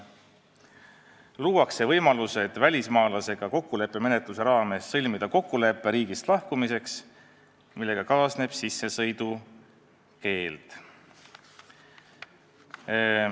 Luuakse võimalused välismaalasega kokkuleppemenetluse raames sõlmida kokkulepe riigist lahkumiseks, millega kaasneb sissesõidukeeld.